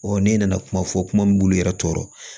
ne nana kuma fɔ kuma min b'u yɛrɛ tɔɔrɔ